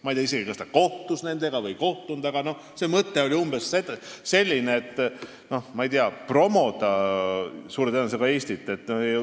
Ma ei tea isegi, kas ta kohtus nendega või ei kohtunud, aga selle mõte oli suure tõenäosusega Eestit promoda.